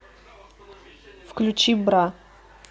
включи бра